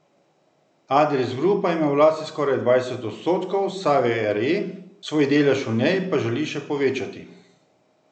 Adris Grupa ima v lasti skoraj dvajset odstotkov Save Re, svoj delež v njej pa želi še povečati.